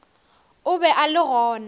o be a le gona